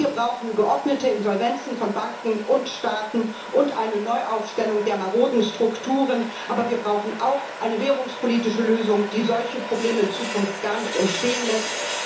Wir brauchen geordnete Insolvenzen von Banken und Staaten und eine Neuaufstellung der maroden Strukturen, aber wir brauchen auch eine währungspolitische Lösung, die solche Probleme in Zukunft gar nicht entstehen lässt.